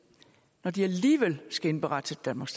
når de alligevel skal indberette til danmarks